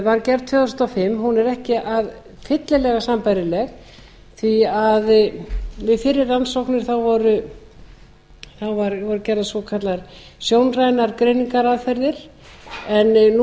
var gerð tvö þúsund og fimm er ekki fyllilega sambærileg því að við fyrri rannsóknir voru gerðar svokallaðar sjónrænar greiningaraðferðir en nú